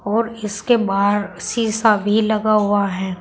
और इसके बाहर शीशा भी लगा हुआ है।